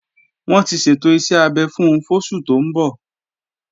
Wọ́n ti ṣètò iṣẹ́ abẹ fún fóṣù tó ń bọ̀